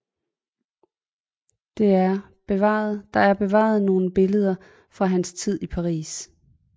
Der er bevaret nogle billeder fra hans tid i Paris